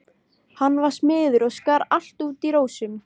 Hann var smiður og skar allt út í rósum.